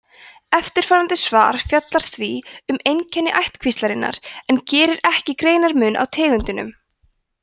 eftirfarandi svar fjallar því um einkenni ættkvíslarinnar en gerir ekki greinarmun á tegundunum